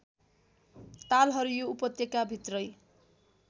तालहरू यो उपत्यकाभित्रै